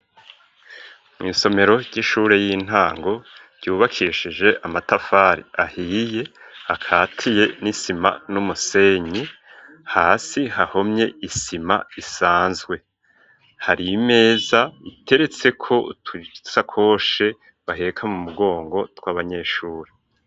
Mw,isomero ry'ishure y'intango ryubakishije amatafari ahiye akatiye n'isima n'umusenyi hasi hahomye isima isanzwe, hari imeza iteretseko utusakoshe baheka mu mugongo tw'abanyeshuri.